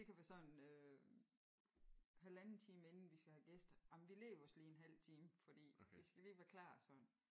Det kan være sådan øh halvanden time inden vi skal have gæster jamen vi lægger os lige en halv time fordi vi skal lige være klar og sådan